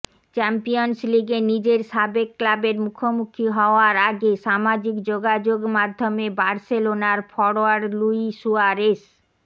champions লিগে নিজের সাবেক ক্লাবের মুখোমুখি হওয়ার আগে সামাজিক যোগাযোগ মাধ্যমে বার্সেলোনার ফরোয়ার্ড লুই সুয়ারেস